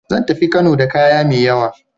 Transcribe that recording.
Zan tafi Kano da kaya mai yawa.